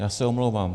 Já se omlouvám.